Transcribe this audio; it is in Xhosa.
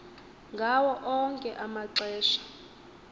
ngawo onke amaxesha